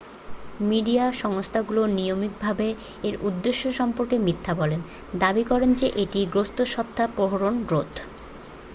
"Media সংস্থাগুলো নিয়মিতভাবে এর উদ্দেশ্য সম্পর্কে মিথ্যা বলে দাবি করে যে এটি "গ্রস্থস্বত্বাপহরণ রোধ""।